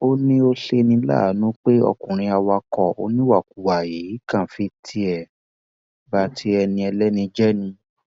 ó ní ó ṣe ní láàánú pé ọkùnrin awakọ oníwàkuwà yìí kàn fi tiẹ ba ti ẹni ẹlẹni jẹ ni